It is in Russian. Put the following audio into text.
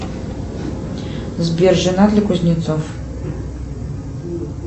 сбер женат ли кузнецов